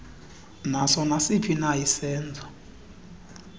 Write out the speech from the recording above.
naso nasiphina isenzo